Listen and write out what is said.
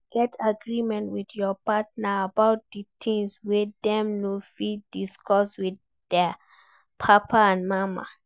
Get agreement with your partner about di things wey dem no fit discuss with their papa and mama